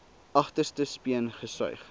agterste speen gesuig